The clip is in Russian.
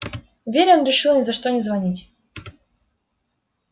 вере он решил ни за что не звонить